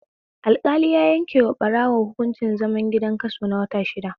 Alƙali ya yankewa ɓarawo hunkuncin zaman gida kaso na wata shida